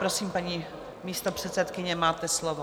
Prosím, paní místopředsedkyně, máte slovo.